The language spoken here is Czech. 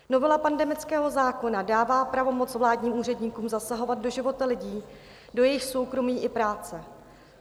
Novela pandemického zákona dává pravomoc vládním úředníkům zasahovat do života lidí, do jejich soukromí i práce.